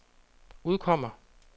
udkommer